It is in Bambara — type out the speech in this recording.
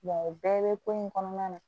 o bɛɛ bɛ ko in kɔnɔna na